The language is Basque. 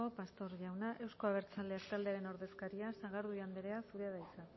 pastor jauna euzko abertzaleak taldearen ordezkaria sagardui andrea zurea da hitza